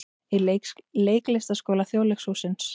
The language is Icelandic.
Í Leiklistarskóla Þjóðleikhússins.